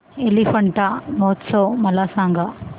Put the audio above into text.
एलिफंटा महोत्सव मला सांग